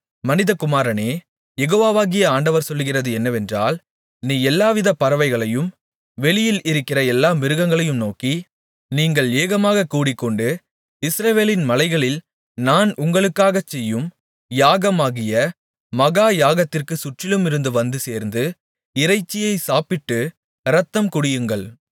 மனிதகுமாரனே யெகோவாகிய ஆண்டவர் சொல்லுகிறது என்னவென்றால் நீ எல்லாவித பறவைகளையும் வெளியில் இருக்கிற எல்லா மிருகங்களையும் நோக்கி நீங்கள் ஏகமாகக் கூடிக்கொண்டு இஸ்ரவேலின் மலைகளில் நான் உங்களுக்காகச் செய்யும் யாகமாகிய மகா யாகத்திற்குச் சுற்றிலுமிருந்து வந்து சேர்ந்து இறைச்சியைச் சாப்பிட்டு இரத்தம் குடியுங்கள்